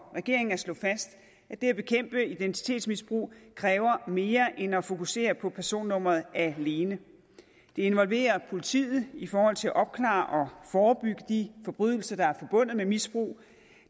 regeringen at slå fast at det at bekæmpe identitetsmisbrug kræver mere end at fokusere på personnummeret alene det involverer politiet i forhold til at opklare og forebygge de forbrydelser der er forbundet med misbruget